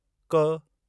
क़